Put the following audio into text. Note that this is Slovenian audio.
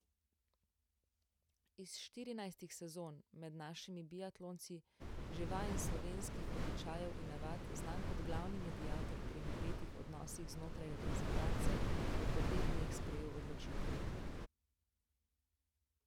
Iz štirinajstih sezon med našimi biatlonci že vajen slovenskih običajev in navad, znan kot glavni mediator pri napetih odnosih znotraj reprezentance, je po dveh dneh sprejel odločitev.